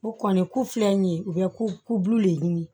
O kɔni ku filɛ nin ye u bɛ kulu le ɲini